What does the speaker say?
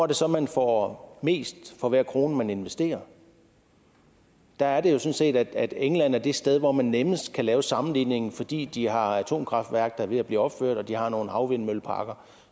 det så at man får mest for hver krone man investerer der er det jo sådan set at england er det sted hvor man nemmest kan lave sammenligningen fordi de har et atomkraftværk er ved at blive opført og de har nogle havvindmølleparker